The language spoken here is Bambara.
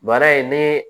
Mara in ne